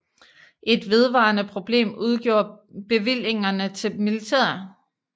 Et vedvarende problem udgjorde bevillingerne til militæret